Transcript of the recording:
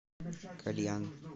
кальян